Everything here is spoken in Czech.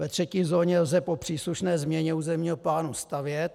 Ve třetí zóně lze po příslušné změně územního plánu stavět.